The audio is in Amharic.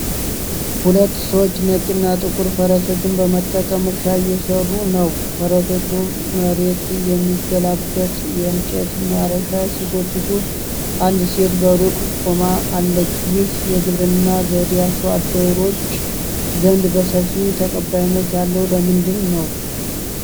ሁለት ሰዎች ነጭና ጥቁር ፈረሶችን በመጠቀም እርሻ እየሰሩ ነው። ፈረሶቹ መሬት የሚገለብጥ የእንጨት ማረሻ ሲጎትቱ፣ አንድ ሴት በሩቅ ቆማ አለች። ይህ የግብርና ዘዴ አርሶ አደሮች ዘንድ በሰፊው ተቀባይነት ያለው ለምንድን ነው?